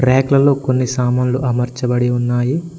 Rack లల్లో కొన్ని సామాన్లు అమర్చబడి ఉన్నాయి.